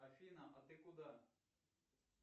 афина а ты куда